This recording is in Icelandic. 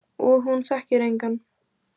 Og hún þekkir engan?